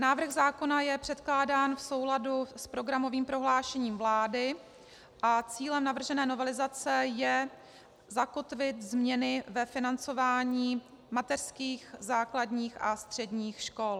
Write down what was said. Návrh zákona je předkládán v souladu s programovým prohlášením vlády a cílem navržené novelizace je zakotvit změny ve financování mateřských, základních a středních škol.